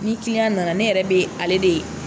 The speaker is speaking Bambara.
Ni kiliyan nana ne yɛrɛ bɛ ale de.